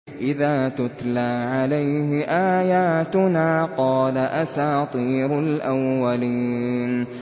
إِذَا تُتْلَىٰ عَلَيْهِ آيَاتُنَا قَالَ أَسَاطِيرُ الْأَوَّلِينَ